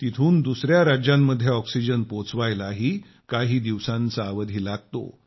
तिथून दुसया राज्यांमध्ये ऑक्सिजन पोहोचवायलाही काही दिवसांचा अवधी लागतो